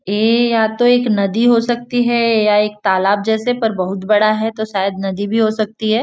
ये या तो एक नदी हो सकती है या एक तालाब जैसे पर बहुत बड़ा है तो शायद नदी भी हो सकती है।